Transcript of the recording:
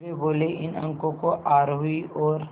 वे बोले इन अंकों को आरोही और